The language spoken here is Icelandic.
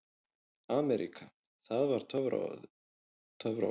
AMERÍKA það var töfraorðið.